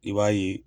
I b'a ye